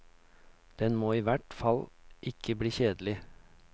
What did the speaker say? Den må i hvert fall ikke bli kjedelig.